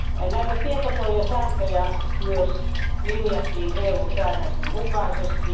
Näitä tietosuojasääntöjä myös linjattiin EU säädösten mukaisesti.